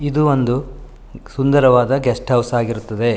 ಇದು ಒಂದು ಸುಂದರವಾದ ಗೆಸ್ಟ್ ಹೌಸ್ ಆಗಿರುತ್ತದೆ.